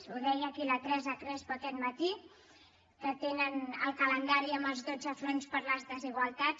ho deia aquí la teresa crespo aquest matí que tenen el calendari amb els dotze fronts per les desigualtats